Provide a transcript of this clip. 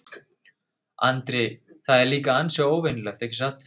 Andri: Það er líka ansi óvenjulegt, ekki satt?